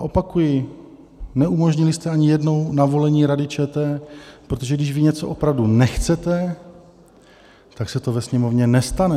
A opakuji, neumožnili jste ani jednou navolení Rady ČR, protože když vy něco opravdu nechcete, tak se to ve Sněmovně nestane.